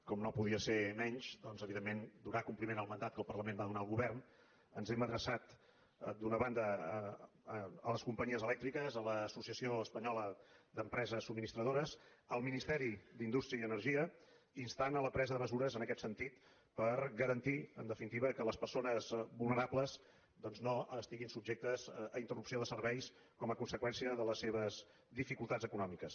com no podia ser menys doncs evidentment donant compliment al mandat que el parlament va donar al govern ens hem adreçat d’una banda a les companyies elèctriques a l’associació espanyola d’empreses subministradores al ministeri d’indústria i energia per instar los a la presa de mesures en aquest sentit per garantir en definitiva que les persones vulnerables no estiguin subjectes a interrupció de serveis com a conseqüència de les seves dificultats econòmiques